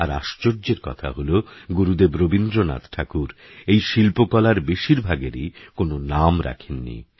আরআশ্চর্যেরকথাহলোগুরুদেবরবীন্দ্রনাথঠাকুরএইশিল্পকলারবেশিরভাগেরইকোনওনামরাখেননি